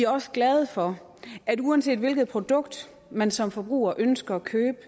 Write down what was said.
også glade for at uanset hvilket produkt man som forbruger ønsker at købe